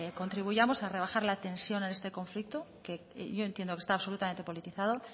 contribuyamos a rebajar la tensión en este conflicto que yo entiendo que está absolutamente politizado